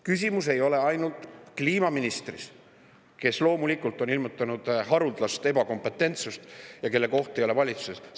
Küsimus ei ole ainult kliimaministris, kes loomulikult on ilmutanud haruldast ebakompetentsust ja kelle koht ei ole valitsuses.